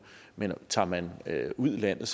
men tager man ud i landet